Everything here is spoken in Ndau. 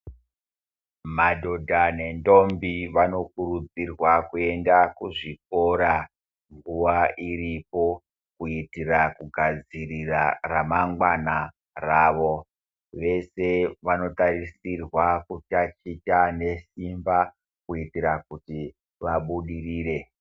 Madhodha nenthombi vanokurudzirwa kuenda kuzvikora nguwa iripo kuitira kugadzirira ramangwana rawo. Veshe vanotarisirwa kutaticha nesimba kuitira kuti vabudirire.